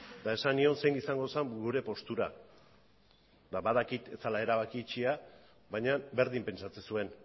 eta esan nion zein izango zen gure postura eta badakit ez zela erabaki itxia baina berdin pentsatzen zuen